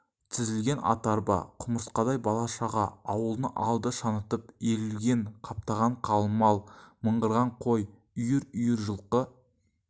тізілген ат арба құмырсқадай бала-шаға ауылдың алды шаңытып иірілген қаптаған қалың мал мыңғырған қой үйір-үйір жылқы